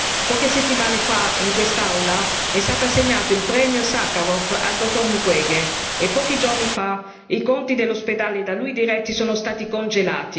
Poche settimane fa, in quest'Aula, è stato assegnato il Premio Sacharov al dottor Mukwege e pochi giorni fa i conti dall'ospedale da lui diretto sono stati congelati.